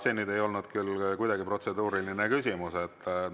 Aga see ei olnud küll kuidagi protseduuriline küsimus.